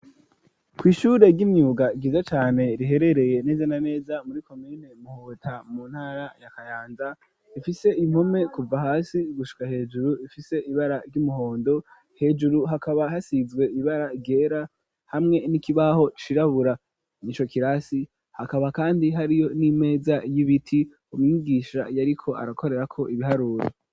Ku ishure ry'imyuga ryiza cane riherereye neze na neza muri komine Muhota mu ntara ya kayanza, ifise impome kuva hasi gushika hejuru ifise ibara ry'umuhondo, hejuru hakaba hasize ibara ryera hamwe n'ikibaho cirabura ico kirasi hakaba kandi hariyo n'imeza y'ibiti umwigisha yariko arakorerako ibiharuro.